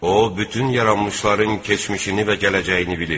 O bütün yaranmışların keçmişini və gələcəyini bilir.